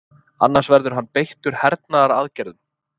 Annars verði hann beittur hernaðaraðgerðum